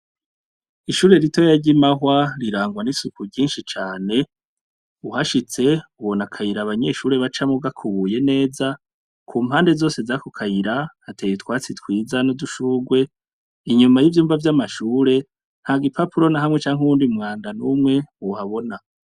Ishure ritoya ry'i Mahwa, rirangwa n'isuku ryinshi cane, uhashitse ubona akayira abanyeshure bacamwo gakubuye neza, ku mpande zose z'ako kayira, hateye utwatsi twiza n'udushurwe, inyuma y'ivyumba vy'amashure, nta gipapuro na hamwe canke uwundi mwanda n'umwe uhabona.